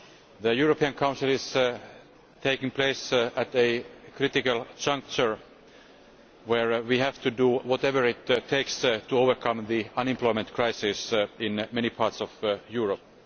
The European Council is taking place at a critical juncture where we have to do whatever it takes to overcome the unemployment crisis in many parts of Europe.